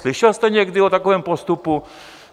Slyšel jste někdy o takovém postupu?